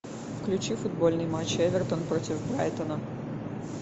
включи футбольный матч эвертон против брайтона